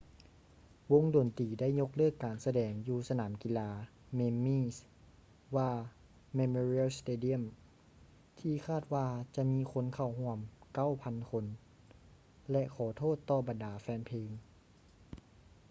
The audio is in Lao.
ວົງດົນຕີໄດ້ຍົກເລີກການສະແດງຢູ່ສະໜາມກິລາ memi's war memorial stadium ທີ່ຄາດວ່າຈະມີຄົນເຂົ້າຮ່ວມ 9,000 ຄົນ ແລະ ຂໍໂທດຕໍ່ບັນດາແຟນເພງ